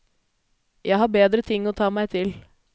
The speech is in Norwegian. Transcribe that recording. Jeg har bedre ting å ta meg til.